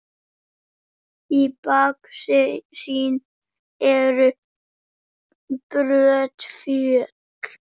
Í baksýn eru brött fjöll.